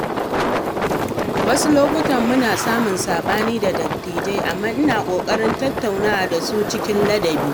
Wasu lokuta muna samun saɓani da dattijai, amma ina ƙoƙarin tattauna da su cikin ladabi.